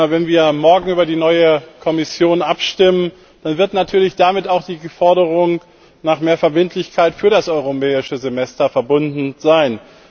Wenn wir morgen über die neue Kommission abstimmen, dann wird natürlich damit auch die Forderung nach mehr Verbindlichkeit für das Europäische Semester verbunden sein.